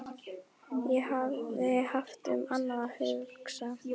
Ég hafði haft um annað að hugsa.